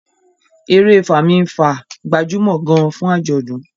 èrè Fami-nfa gbajúmò gaan fún ajọdun